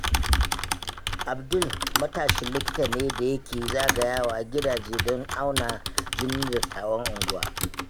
Abdul matashin likita ne da yake zagayawa gidaje don auna jinin dattawan unguwa.